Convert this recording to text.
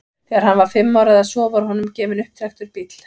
Þegar hann var fimm ára eða svo var honum gefinn upptrekktur bíll.